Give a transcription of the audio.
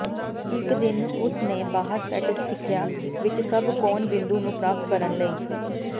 ਇਕ ਦਿਨ ਉਸ ਨੇ ਬਾਹਰ ਸੈੱਟ ਸਿੱਖਿਆ ਵਿੱਚ ਸਭ ਕੋਣਬਿੰਦੂ ਨੂੰ ਪ੍ਰਾਪਤ ਕਰਨ ਲਈ